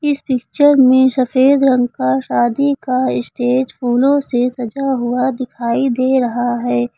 इस पिक्चर में सफेद रंग का शादी का स्टेज फूलों से सजा हुआ दिखाई दे रहा है।